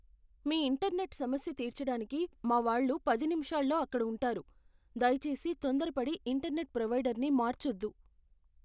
మీ internet సమస్య తీర్చడానికి మా వాళ్ళు పది నిమిషాల్లో అక్కడ ఉంటారు, దయచేసి తొందరపడి ఇంటర్నెట్ ప్రొవైడర్ని మార్చొద్దు.